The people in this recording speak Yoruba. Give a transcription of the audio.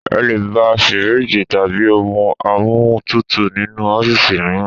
Ẹ lè bá fíríìgì tàbí ohun amóhúntutù nínú ọ́fíìsì mìíràn.